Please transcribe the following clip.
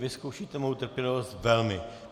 Vy zkoušíte moji trpělivost velmi.